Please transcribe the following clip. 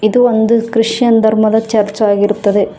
ಇದು ಒಂದು ಕ್ರಿಶ್ಚಿಯನ್ ಧರ್ಮದ ಚರ್ಚ್ ಆಗಿರುತ್ತದೆ.